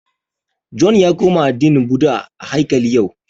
John ya koma addinin Bhudha a haikali yau